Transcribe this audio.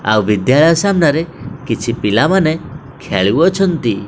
ଆଉ ବିଦ୍ୟାଳୟ ସାମ୍ନାରେ କିଛି ପିଲାମାନେ ଖେଳୁଅଛନ୍ତି।